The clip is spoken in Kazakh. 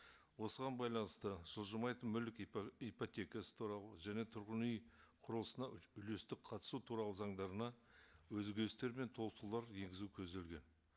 осыған байланысты жылжымайтын мүлік ипотекасы туралы және тұрғын үй құрылысына үлестік қатысу туралы заңдарына өзгерістер мен толықтырулар енгізу көзделген